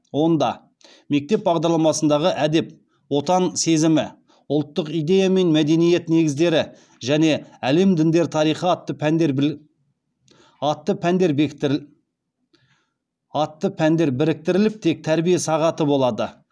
онда мектеп бағдарламасындағы әдеп отан сезімі ұлттық идея мен мәдениет негіздері және әлем діндер тарихы атты пәндер біріктіріліп тек тәрбие сағаты болады